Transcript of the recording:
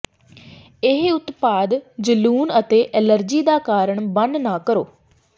ਇਹ ਉਤਪਾਦ ਜਲੂਣ ਅਤੇ ਐਲਰਜੀ ਦਾ ਕਾਰਨ ਬਣ ਨਾ ਕਰੋ